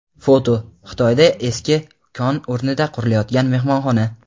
Foto: Xitoyda eski kon o‘rnida qurilayotgan mehmonxona.